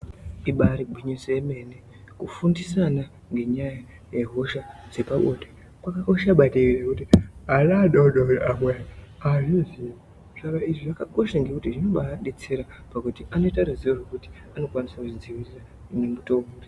Ibaari gwinyiso yemene kufundisa ana ngenyaya yehosha dzepabonde kwakakosha maningi zvokuti ana adoodori amwe haazvizii. Saka izvi zvakakosha ngekuti zvinobaadetsera pakuti anoita ruzivo rwekuti anokwanisa kuzvidzivirira nemutowo uri.